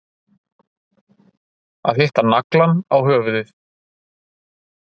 Að hitta naglann á höfuðið